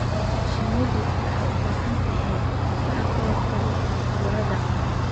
Shinnidu waxay u baahan tahay difaac ka hortagga cudurrada.